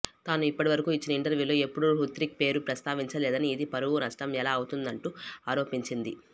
తాను ఇప్పటివరకు ఇచ్చిన ఇంటర్వూలో ఎప్పుడూ హృతిక్ పేరు ప్రస్తావించలేదని ఇది పరువు నష్టం ఎలా అవుతుందుంటూ ఆరోపించింది